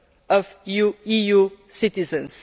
of EU citizens.